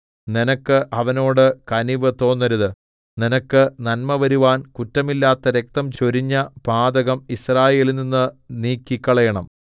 നിനക്ക് അവനോട് കനിവ് തോന്നരുത് നിനക്ക് നന്മ വരുവാൻ കുറ്റമില്ലാത്ത രക്തം ചൊരിഞ്ഞ പാതകം യിസ്രായേലിൽനിന്ന് നീക്കിക്കളയണം